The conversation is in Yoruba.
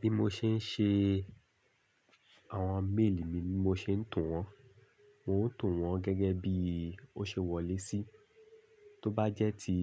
Bí mo ṣe ń ṣe àwọn mail mi ni mo ṣe ń tún wọn. N o to wọn gẹ́gẹ́ bí ó ṣe wọlé sí. Tó bá jẹ́ ti